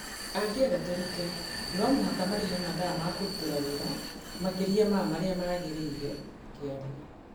Angĩenda tũrute, no mũhaka marĩhe mathaa ma kũrutĩra wĩra makĩria ma marĩa maagĩrĩire, "akĩaria.